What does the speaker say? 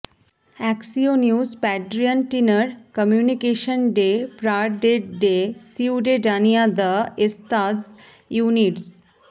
অ্যাকসিওনিউস প্যাড্রিয়্যান টিনার কমিউনিকেশন ডে প্রারডেড ডে সিউডেডানিয়া দ্য এস্তাদস ইউনিডস